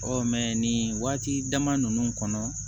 nin waati dama nunnu kɔnɔ